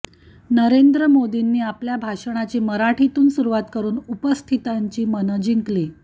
नरेंद्र मोदींनी आपल्या भाषणाची मराठीतून सुरूवात करून उपस्थितांची मनं जिंकली